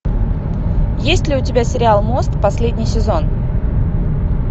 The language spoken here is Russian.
есть ли у тебя сериал мост последний сезон